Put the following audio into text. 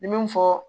N ye min fɔ